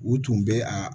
U tun bɛ a